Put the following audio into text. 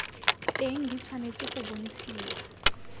teng di tshwanetse go bontshiwa